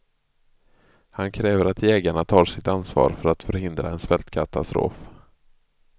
Han kräver att jägarna tar sitt ansvar för att förhindra en svältkatastrof.